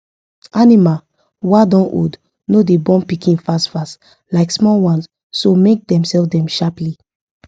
animal wa don old no da born pikin fastfast like small ones so make they sell them sharply